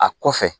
A kɔfɛ